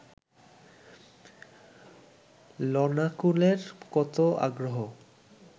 ললনাকুলের কত আগ্রহ